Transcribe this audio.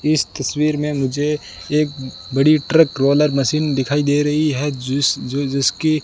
इस तस्वीर में मुझे एक बड़ी ट्रक रोलर मशीन दिखाई दे रही है जिसकी --